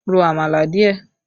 Ro àmàlà díẹ̀!